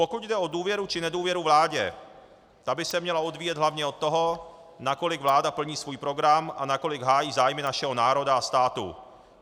Pokud jde o důvěru či nedůvěru vládě, ta by se měla odvíjet hlavně od toho, nakolik vláda plní svůj program a nakolik hájí zájmy našeho národa a státu.